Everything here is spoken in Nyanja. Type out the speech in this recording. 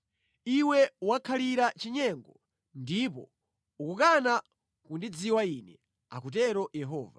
Iwe wakhalira mʼchinyengo ndipo ukukana kundidziwa Ine,” akutero Yehova.